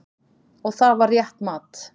Og það var rétt mat.